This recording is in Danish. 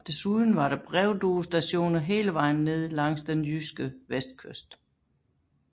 Desuden var der brevduestationer hele vejen ned langs den jyske vestkyst